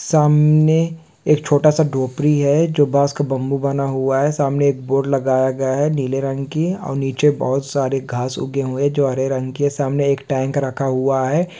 सामने एक छोटा-सा डोपरी हैं जो बास का बम्बू बना हुआ हैं सामने एक बोर्ड लगाया गया हैं नीले रंग की और नीचे बोहोत सारे घास उगे हुए हैं जो हरे रंग की हैं सामने एक टैंक रखा हुआ हैं।